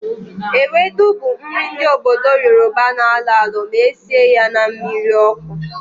Ewedu bụ nri ndị obodo Yoroba na-alọ alọ ma esie ya na mmiri ọkụ